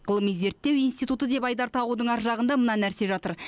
ғылыми зерттеу институты деп айдар тағудың ар жағында мына нәрсе жатыр